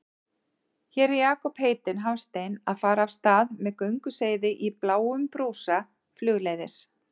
Hér er Jakob heitinn Hafstein að fara af stað með gönguseiði í bláum brúsa flugleiðis.